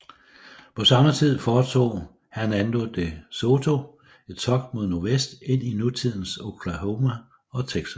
På samme tid foretog Hernando de Soto et togt mod nordvest ind i nutidens Oklahoma og Texas